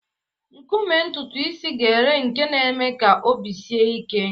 Nkume ntutu isi gele nke na-eme ka obi sie gị ike.